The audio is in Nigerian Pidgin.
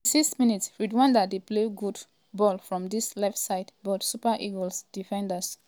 36mins- rwanda dey play good um ball from dis left side but super eagles defenders dey block am.